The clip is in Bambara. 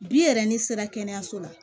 Bi yɛrɛ ni sera kɛnɛyaso la